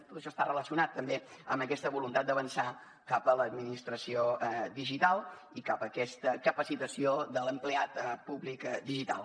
tot això està relacionat també amb aquesta voluntat d’avançar cap a l’administració digital i cap aquesta capacitació de l’empleat públic digital